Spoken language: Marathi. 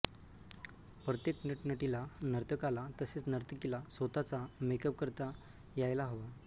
प्रत्येक नटनटीला नर्तकाला तसेच नर्तकीला स्वतःचा मेकअप करता यायला हवा